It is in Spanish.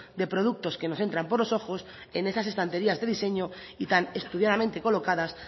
de productos que nos entran por los ojos en esas estanterías de diseño y tan estudiadamente colocadas